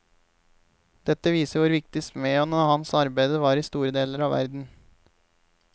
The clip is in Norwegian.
Dette viser hvor viktig smeden og hans arbeide var i store deler av verden.